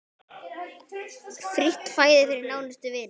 Frítt fæði fyrir nánustu vini.